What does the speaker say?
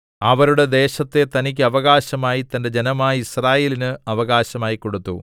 അവരുടെ ദേശത്തെ തനിക്ക് അവകാശമായി തന്റെ ജനമായ യിസ്രായേലിന് അവകാശമായി കൊടുത്തു